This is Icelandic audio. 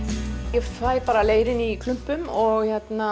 ég fæ bara leirinn í klumpum